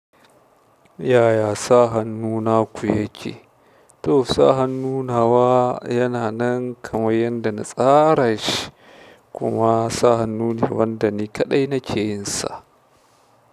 Yaya sa hannuna ku yake? To, sa hannunawa yana nan kamar yadda na tsara shi kuma sa hannun wanda ni kaɗai nake yin sa.